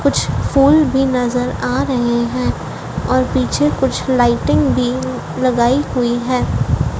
कुछ फूल भी नजर आ रहे है और पीछे कुछ लाइटिंग भी लगाई हुई है।